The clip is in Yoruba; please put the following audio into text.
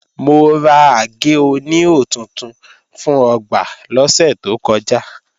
Mo ra àgé-oníhò tuntun fún ọgbà lọ́sẹ̀ tó kọjá